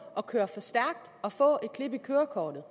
at køre for stærkt og få et klip i kørekortet